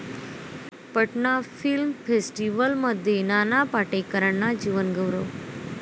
Patna film फेस्टिवलमध्ये नाना पाटेकरांना जीवनगौरव